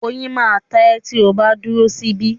Oyin máa ta ẹ́ tí o bá dúró sí bí